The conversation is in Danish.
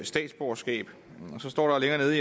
statsborgerskab så står der